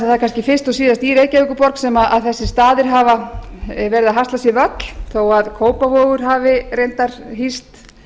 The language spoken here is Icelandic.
það er kannski fyrst og síðast í reykjavíkurborg sem þessir staðir verið að hasla sér völl þó að kópavogur hafi reyndar hýst